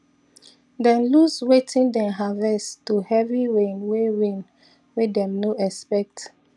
them loose wetin them harvest to heavy rain way rain way them no expect